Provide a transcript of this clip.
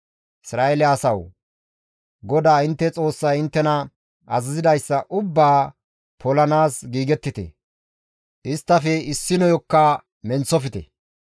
«Isra7eele asawu! GODAA intte Xoossay inttena azazidayssa ubbaa polanaas giigettite; isttafe issinoyokka menththofte.